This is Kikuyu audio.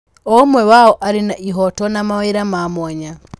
O ũmwe wao arĩ na ihooto na mawĩra ma mwanya.